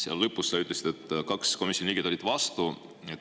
Seal lõpus sa ütlesid, et kaks komisjoni liiget olid vastu.